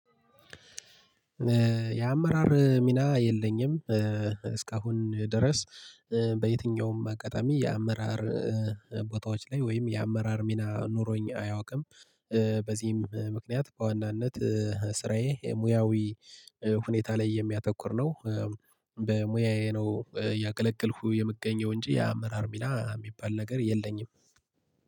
የአመራር ሚና የለኝም እስካሁን ድረስ በየትኛውም አጋጣሚ የአመራር ቦታዎች ላይ ወይም የአመራር ሚና ኑሮኝ አያውቅም። በዚህም ምክንያት በዋናነት ስራዬ ሙያዊ ሁኔታ ላይ የሚያተኩር ነው። በሙያዬ ነው እያገለግልኩ የምገኘው እንጂ ያአመራር ሚና የሚባል ነገር የለኝም